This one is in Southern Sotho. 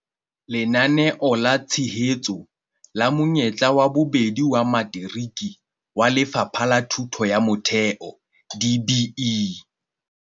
Lenaneo la Tshehetso la Monyetla wa Bobedi wa Materiki wa Lefapha la Thuto ya Motheo, DBE.